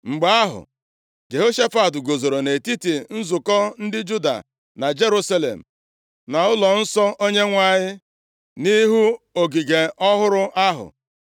Mgbe ahụ, Jehoshafat guzoro nʼetiti nzukọ ndị Juda na Jerusalem nʼụlọnsọ Onyenwe anyị nʼihu ogige ọhụrụ ahụ,